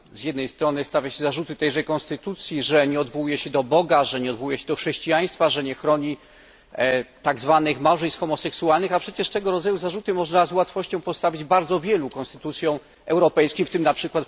Z jednej strony stawia się zarzuty tejże konstytucji, że nie odwołuje się do Boga, nie odwołuje się do chrześcijaństwa i nie chroni tak zwanych małżeństw homoseksualnych, a przecież tego rodzaju zarzuty można z łatwością postawić bardzo wielu konstytucjom europejskim w tym np.